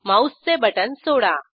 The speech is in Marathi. माऊसचे बटण सोडा